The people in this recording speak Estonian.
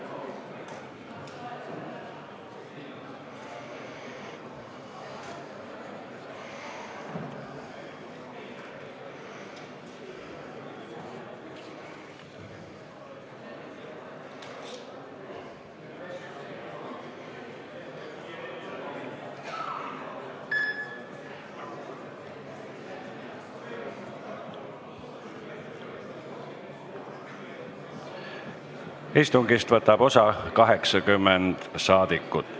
Kohaloleku kontroll Istungist võtab osa 80 saadikut.